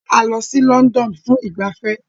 A lọ sí London fún ìgbafẹ́